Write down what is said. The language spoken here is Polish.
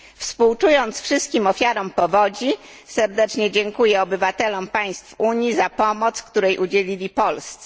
Współczując wszystkim ofiarom powodzi, serdecznie dziękuję obywatelom państw Unii za pomoc, której udzielili Polsce.